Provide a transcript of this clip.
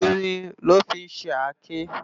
Irin lò fi n ṣé àké